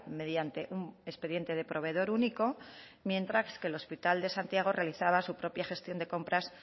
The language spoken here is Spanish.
mediante un expediente de proveedor único mientras que el hospital de santiago realizaba su propia gestión de compras